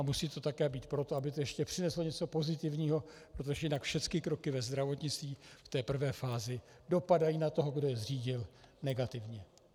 A musí to také být proto, aby to ještě přineslo něco pozitivního, protože jinak všecky kroky ve zdravotnictví v té prvé fázi dopadají na toho, kdo je zřídil, negativně.